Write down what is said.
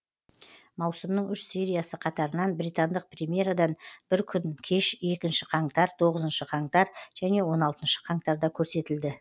маусымның үш сериясы қатарынан британдық премьерадан бір күн кеш екінші қаңтар тоғызыншы қаңтар және он алтыншы қаңтарда көрсетілді